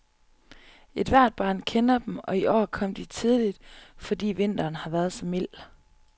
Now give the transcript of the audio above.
Ethvert barn kender dem, og i år kom de tidligt, fordi vinteren har været så mild.